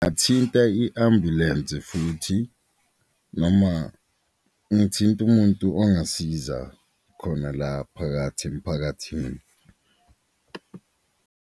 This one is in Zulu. Athinte i-ambulensi futhi noma ngithinte umuntu ongasiza khona la phakathi emiphakathini.